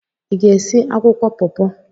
Ị ga-esi akwụkwọ paw-paw?